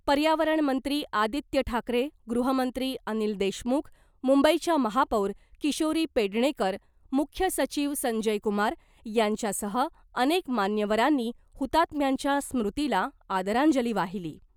पर्यावरण मंत्री आदित्य ठाकरे , गृहमंत्री अनिल देशमुख , मुंबईच्या महापौर किशोरी पेडणेकर , मुख्य सचिव संजय कुमार यांच्यासह अनेक मान्यवरांनी हुतात्म्यांच्या स्मृतीला आदरांजली वाहिली .